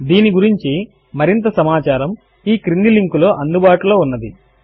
దీని గురించి మరింత సమాచారము ఈ క్రింది లింక్ లో అందుబాటులో ఉన్నది